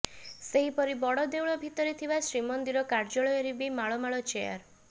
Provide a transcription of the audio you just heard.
ସେହିପରି ବଡ଼ଦେଉଳ ଭିତରେ ଥିବା ଶ୍ରୀମନ୍ଦିର କାର୍ଯ୍ୟାଳୟରେ ବି ମାଳ ମାଳ ଚେୟାର୍